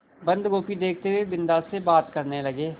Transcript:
बन्दगोभी देखते हुए बिन्दा से बात करने लगे